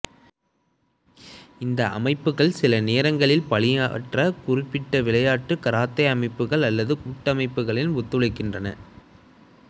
இந்த அமைப்புகள் சிலநேரங்களில் பாணியற்ற குறிப்பிட்ட விளையாட்டு கராத்தே அமைப்புகள் அல்லது கூட்டமைப்புகளில் ஒத்துழைக்கின்றன